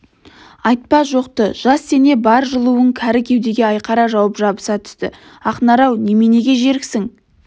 айтпа жоқты жас дене бар жылуын кәрі кеудеге айқара жауып жабыса түсті ақнар-ау неменеге жеріксің